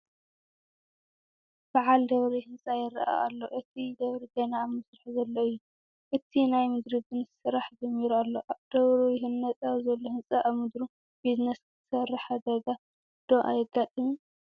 በዓል ደብሪ ህንፃ ይርአ ኣሎ፡፡ እቲ ደብሪ ገና ኣብ ምስራሕ ዘሎ እዩ፡፡ እቲ ናይ ምድሪ ግን ስራሕ ጀሚሩ ኣሎ፡፡ ደብሩ ይህነፀ ኣብ ዘሎ ህንፃ ኣብ ምድሩ ቢዝነስ ክትሰርሕ ሓደጋ ዶ ኣይገጥምን?